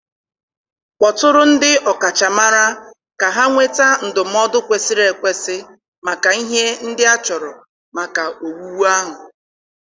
Kpọtụrụ ndị ọkachamara ka ha nweta ndụmọdụ kwesịrị ekwesị maka ihe ndị achọrọ maka owuwu ahụ